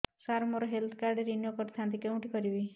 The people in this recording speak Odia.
ସାର ମୋର ହେଲ୍ଥ କାର୍ଡ ରିନିଓ କରିଥାନ୍ତି କେଉଁଠି କରିବି